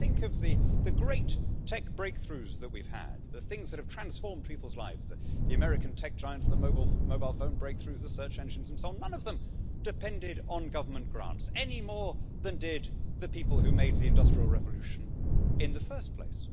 If we think of the great tech breakthroughs that we've had, the things that have transformed people's lives the American tech giants, the mobile phone breakthroughs, the search engines and so on none of them depended on government grants, any more than did the people who made the Industrial Revolution in the first place.